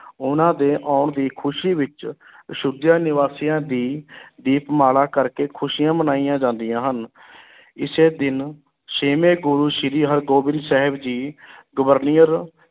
ਉਨ੍ਹਾਂ ਦੇ ਆਉਣ ਦੀ ਖ਼ੁਸ਼ੀ ਵਿੱਚ ਅਯੋਧਿਆ ਨਿਵਾਸੀਆਂ ਦੀ ਦੀਪਮਾਲਾ ਕਰਕੇ ਖ਼ੁਸ਼ੀਆਂ ਮਨਾਈਆਂ ਜਾਂਦੀਆਂ ਹਨ ਇਸੇ ਦਿਨ ਛੇਵੇਂ ਗੁਰੂ ਸ੍ਰੀ ਹਰਗੋਬਿੰਦ ਸਾਹਿਬ ਜੀ ਗਵਾਲੀਅਰ